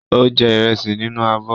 Ó jẹ ìrẹsì nínú abọ́.